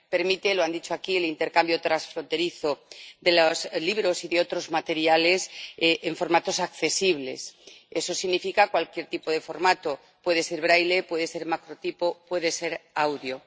Permite —lo han dicho aquí— el intercambio transfronterizo de los libros y de otros materiales en formatos accesibles. Eso significa cualquier tipo de formato puede ser braille, puede ser macrotipo, puede ser audio.